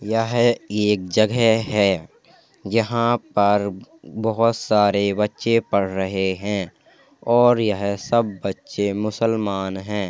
यह एक जगह है। यहाँ पर बोहोत सारे बच्चे पढ़ रहे हैं और यह सब बच्चे मुसलमान हैं।